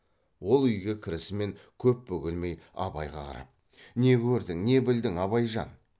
ол үйге кірісімен көп бөгелмей абайға қарап не көрдің не білдің абайжан